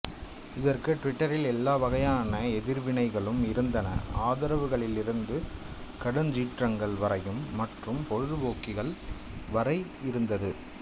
இதற்கு டிவிட்டரில் எல்லா வகையான எதிர்வினைகளும் இருந்தன ஆதரவுகளிலிருந்து கடுஞ்சீற்றங்கள் வரையும் மற்றும் பொழுதுபோக்கிகள் வரை இருந்தது